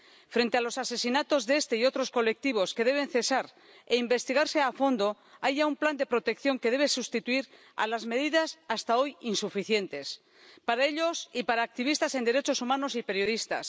Frente a los asesinatos de este y otros colectivos, que deben cesar e investigarse a fondo, hay ya un plan de protección que debe sustituir a las medidas hasta hoy insuficientes, para ellos y para activistas en derechos humanos y periodistas.